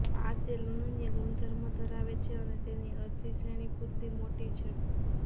આ તેલ અનન્ય ગુણધર્મો ધરાવે છે અને તેની અરજી શ્રેણી પૂરતી મોટી છે